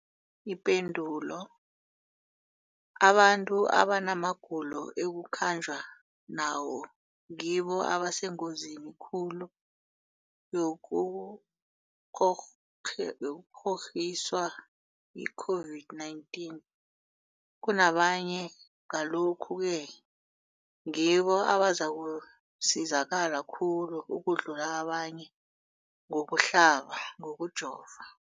Ipendulo, abantu abanamagulo ekukhanjwa nawo ngibo abasengozini khulu yokukghokghiswa yi-COVID-19 kunabanye, Ngalokhu-ke ngibo abazakusizakala khulu ukudlula abanye ngokuhlaba, ngokujova.